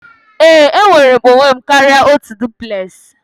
Ee, enwere m onwe m karịa otu duplex